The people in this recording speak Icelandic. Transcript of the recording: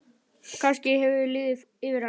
Kannski hefur liðið yfir hana?